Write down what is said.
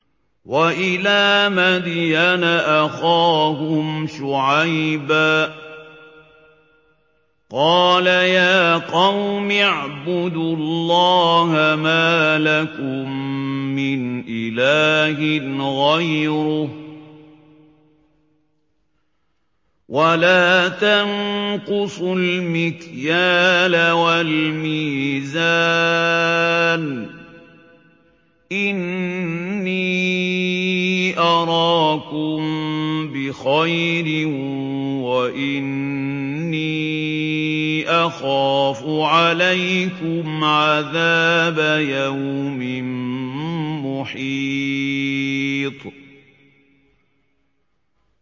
۞ وَإِلَىٰ مَدْيَنَ أَخَاهُمْ شُعَيْبًا ۚ قَالَ يَا قَوْمِ اعْبُدُوا اللَّهَ مَا لَكُم مِّنْ إِلَٰهٍ غَيْرُهُ ۖ وَلَا تَنقُصُوا الْمِكْيَالَ وَالْمِيزَانَ ۚ إِنِّي أَرَاكُم بِخَيْرٍ وَإِنِّي أَخَافُ عَلَيْكُمْ عَذَابَ يَوْمٍ مُّحِيطٍ